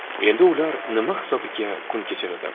Endi ular nima hisobiga kun kechiradi?.